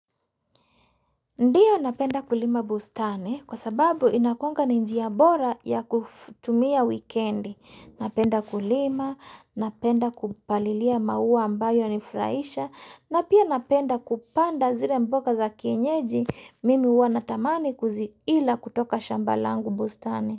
Ndiyo napenda kulima bustani kwa sababu inakuanga ni njia bora ya kutumia wikendi. Napenda kulima, napenda kupalilia maua ambayo yanifurahisha na pia napenda kupanda zile mboga za kienyeji mimi huwa natamani kuziila kutoka shamba langu bustani.